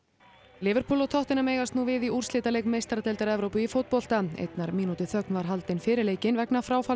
liverpool og tottenham eigast nú við í úrslitaleik meistaradeildar Evrópu í fótbolta einnar mínútu þögn var haldin fyrir leikinn vegna fráfalls